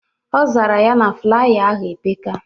Ọ zara ya na flaya ahụ epeka